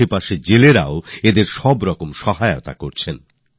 আশেপাশের মৎস্যজীবীরাও তাদের সব রকম সাহায্য দিচ্ছেন